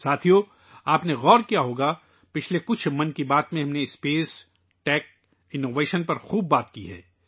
دوستو، آپ نے یہ محسوس کیا ہوگا کہ ' من کی بات ' کی پچھلی چند قسطوں میں، ہم نے خلاء ، ٹیکنالوجی اور اختراع پر کافی بات کی ہے